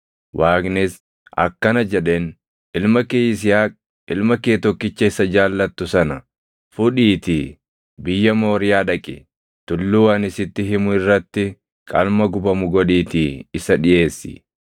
Waaqnis akkana jedheen; “Ilma kee Yisihaaq, ilma kee tokkicha isa jaallattu sana fudhiitii biyya Mooriyaa dhaqi. Tulluu ani sitti himu irratti qalma gubamu godhiitii isa dhiʼeessi.”